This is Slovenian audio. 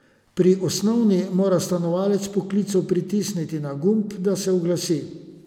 Pri osnovni mora stanovalec po klicu pritisniti na gumb, da se oglasi.